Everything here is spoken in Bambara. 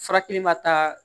Furakɛli ma taa